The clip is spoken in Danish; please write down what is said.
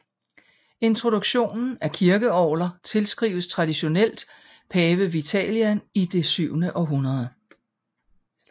Introduktionen af kirkeorgler tilskrives traditionelt Pave Vitalian i det syvende århundrede